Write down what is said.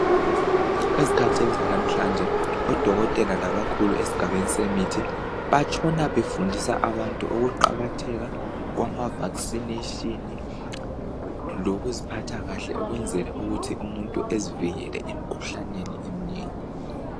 Ezikhathini zalamhlanje odokotela labakhulu esigabeni semithi batshona nefundisa abantu Ukuqakatheka kwama vaccination lokuziphatha kahle ukwenzela ukuthi umuntu ezivikele emkhuhlaneni eminengi